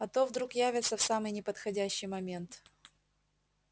а то вдруг явятся в самый неподходящий момент